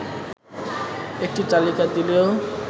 একটি তালিকা দিলেও